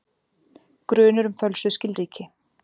Grunur um fölsuð skilríki